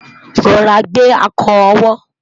rọra gbe akọ owó